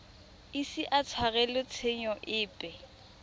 ise a tshwarelwe tshenyo epe